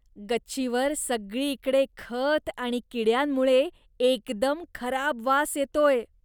गच्चीवर सगळीकडे खत आणि किड्यांमुळे एकदम खराब वास येतोय.